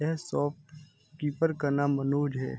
यह शॉपकीपर का नाम मनोज है।